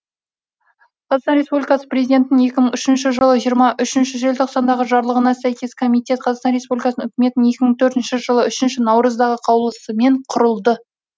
қр президентінің екі мың үшінші жылы жиырма үшінші желтоқсандағы жарлығына сәйкес комитет қр үкіметінің екі мың төртінші жылы үшінші наурыздағы қаулысымен құрылды